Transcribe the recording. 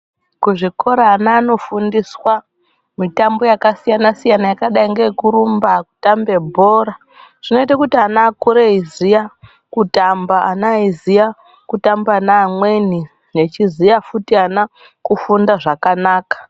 Kuzvikora ana anofundiswaa mitambo yakasiyana- siyana yakadai neekurumba kutambe bhora. Zvinoite kuti ana vakure veiziyaa kutamba, vana veiziya kutamba neamweni, vechiziya futi ana kufunda zvakanaka.